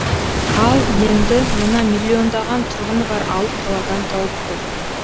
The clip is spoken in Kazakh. ал енді мына миллиондаған тұрғыны бар алып қаладан тауып көр